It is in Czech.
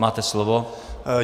Máte slovo.